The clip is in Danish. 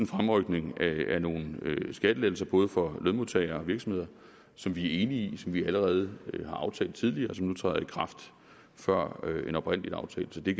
fremrykning af nogle skattelettelser både for lønmodtagere og virksomheder som vi er enige i og som vi allerede har aftalt tidligere og som nu træder i kraft før den oprindelige aftale så det